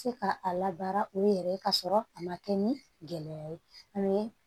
Se ka a labaara u yɛrɛ ye ka sɔrɔ a ma kɛ ni gɛlɛya ye